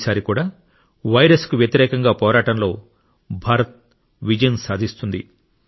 ఈసారి కూడా వైరస్ కు వ్యతిరేకంగా పోరాటంలో భారత్ విజయం సాధిస్తుంది